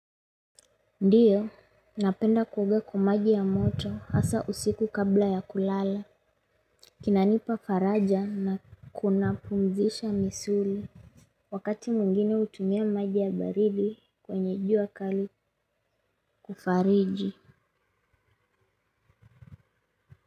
Ndiyo, napenda kuoga kwamaji ya moto hasa usiku kabla ya kulala. Kinanipa faraja na kuna pumzisha misuli. Wakati mwingine hutumia maji ya baridi kwenye jua kali kufariji.